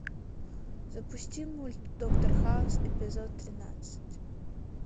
запусти мульт доктор хаус эпизод тринадцать